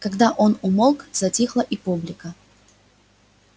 когда он умолк затихла и публика